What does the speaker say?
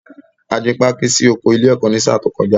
A gbin pákí sí oko ilé-ẹ̀kọ́ ní sáà tí ó kọjá.